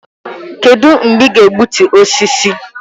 Kedụ mgbe ị ga-egbutu osisi?